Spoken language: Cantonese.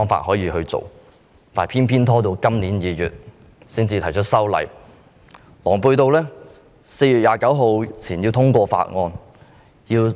但是，當局偏偏拖延至今年2月才提出修例，並狼狽地表示要在4月29日前通過法案。